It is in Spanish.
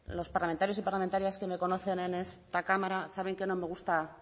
los parlamentarios y parlamentarias que me conocen en esta cámara saben que no me gusta